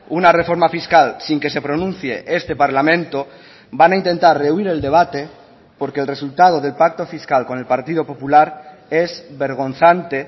una reforma fiscal sin que se pronuncie este parlamento van a intentar rehuir el debate porque el resultado del pacto fiscal con el partido popular es vergonzante